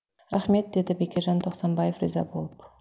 рахмет деді бекежан тоқсанбаев риза болып